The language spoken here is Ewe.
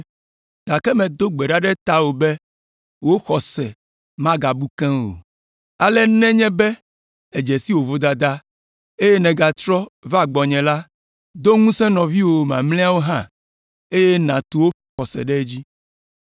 Gake medo gbe ɖa ɖe tawò be wò xɔse magabu keŋ o. Ale nenye be èdze si wò vodada, eye nègatrɔ va gbɔnye la, do ŋusẽ nɔviwò mamlɛawo hã, eye nàtu woƒe xɔse ɖe edzi.”